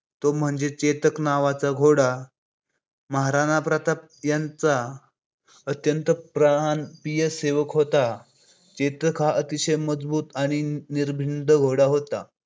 तो म्हणजे चेतक नावाचा घोडा महाराणा प्रताप यांचा अत्यंत प्राणप्रिय सेवक होता. चेतक हा एक अतिशय मजबूत आणि निर्मिङ घोडा होता